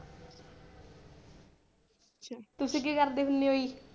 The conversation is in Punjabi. ਤੁਸੀਂ ਕੀ ਕਰਦੇ ਹੁੰਦੇ ਹੋ ਜੀ।